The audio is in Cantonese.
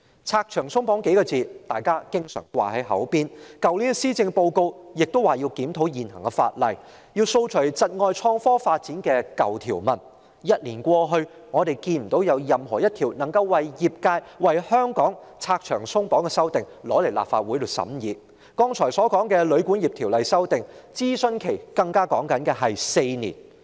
"拆牆鬆綁"這數字是當局常掛在嘴邊的，去年的施政報告亦提到要檢討現行法例，以掃除窒礙創科發展的舊條文，但一年過去，我們未見有一項為業界和香港拆牆鬆綁的法案提交立法會審議，而我剛才提及的《條例草案》的諮詢期更長達4年。